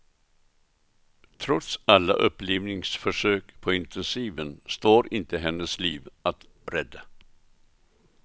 Trots alla upplivningsförsök på intensiven står inte hennes liv att rädda.